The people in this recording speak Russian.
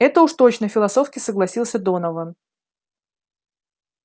это уж точно философски согласился донован